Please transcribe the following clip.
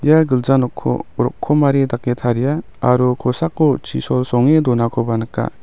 ia gilja nokko rokomari dake taria aro kosako chisol songe donakoba nika.